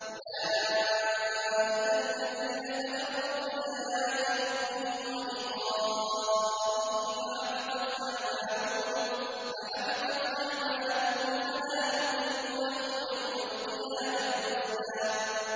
أُولَٰئِكَ الَّذِينَ كَفَرُوا بِآيَاتِ رَبِّهِمْ وَلِقَائِهِ فَحَبِطَتْ أَعْمَالُهُمْ فَلَا نُقِيمُ لَهُمْ يَوْمَ الْقِيَامَةِ وَزْنًا